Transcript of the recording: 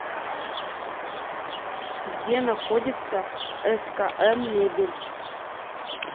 где находится скм мебель